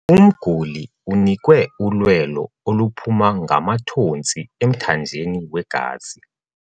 Umguli unikwe ulwelo oluphuma ngamathontsi emthanjeni wegazi.